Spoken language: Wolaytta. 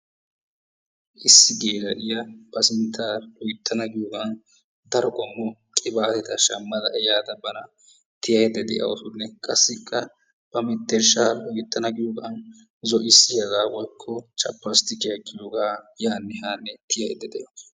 Issi geela'iyaa ba sintta loyttana giyoogan daro qommo qibaateta shaammada ehaada bana tiyayda de'awusunne qassikka ba menttershshaa loyttana giyoogan zo"isiyaaga woykko chapastikiyaa ekidoogaa yaanne haanne tiyaydda de"awus.